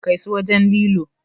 Kai su wajen lilo!